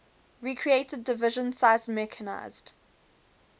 recreated division sized mechanized